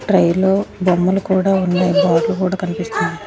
Try లో బొమ్మలు కూడా ఉన్నాయి బాటిల్ కూడా కనిపిస్తుంది.